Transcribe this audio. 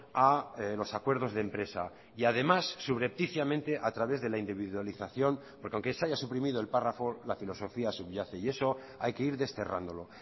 a los acuerdos de empresa y además subrepticiamente a través de la individualización porque aunque se haya suprimido el párrafo la filosofía subyace y eso hay que ir desterrándolo